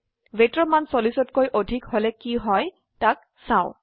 weightৰ মান 40কৈ অধিক হলে কি হয় তাক চাও